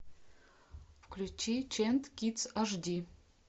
включи чент кидс аш ди